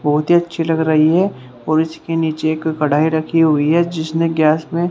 बहुत ही अच्छी लग रही है और इसके नीचे एक कढ़ाई रखी हुई है जिसने गैस में--